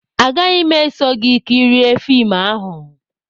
Agaghị m eso gị kirie fim ahụ